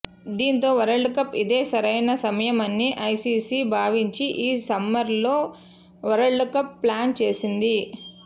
దీంతో వరల్డ్కప్కు ఇదే సరైన సమయమని ఐసీసీ భావించి ఈ సమ్మర్లో వరల్డ్కప్ను ప్లాన్ చేసింది